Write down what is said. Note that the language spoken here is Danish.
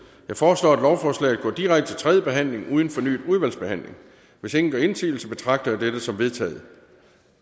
jeg foreslår at lovforslaget går direkte til tredje behandling uden fornyet udvalgsbehandling hvis ingen gør indsigelse betragter jeg dette som vedtaget